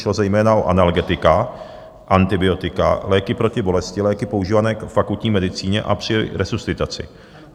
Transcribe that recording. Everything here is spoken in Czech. Šlo zejména o analgetika, antibiotika, léky proti bolesti, léky používané k akutní medicíně a při resuscitaci.